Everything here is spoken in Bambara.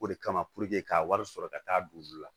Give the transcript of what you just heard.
O de kama k'a wari sɔrɔ ka taa don olu la